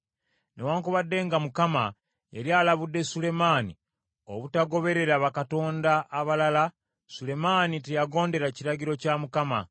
Newaakubadde nga Mukama yali alabudde Sulemaani obutagoberera bakatonda abalala, Sulemaani teyagondera kiragiro kya Mukama .